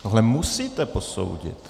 Tohle musíte posoudit.